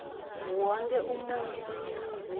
wonkhe umuntfu eningizimu